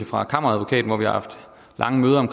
fra kammeradvokaten vi har haft lange møder